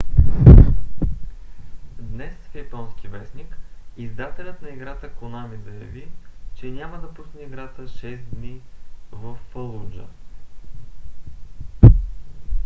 днес в японски вестник издателят на играта конами заяви че няма да пусне играта шест дни във фалуджа